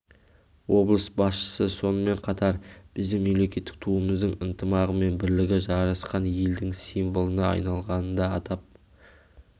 облыс басшысы сонымен қатар біздің мемлекеттік туымыздың ынтымағы мен бірлігі жарасқан елдің символына айналғанын да атап